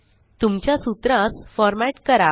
तुमच्या सूत्रास फॉरमॅट करा